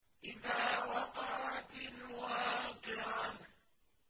إِذَا وَقَعَتِ الْوَاقِعَةُ